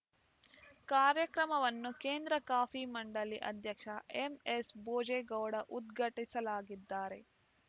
ಕಾರ್ಯಕ್ರಮವನ್ನು ಕೇಂದ್ರ ಕಾಫಿ ಮಂಡಳಿ ಅಧ್ಯಕ್ಷ ಎಂಎಸ್‌ಭೋಜೇಗೌಡ ಉದ್ಘಾಟಿಸಲಾಗಿದ್ದರೆ